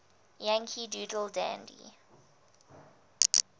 yankee doodle dandy